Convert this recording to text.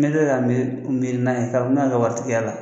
N bɛ kila ka miri miri n'a ye kabi n'a ka waritigiya la